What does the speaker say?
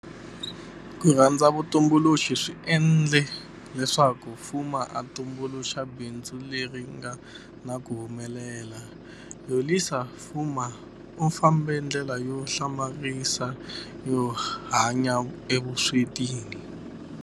KU RHANDZA vutumbuluxi swi endle leswaku Fuma a tumbuluxa bindzu leri nga na ku humelela. Yolisa Fuma u fambe ndlela yo hlamarisa yo hanya evuswetini